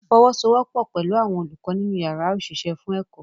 Fọwọ́sowọ́pọ̀ pẹ̀lú àwọn olùkọ́ nínú yàrá òṣìṣẹ́ fún ẹ̀kọ́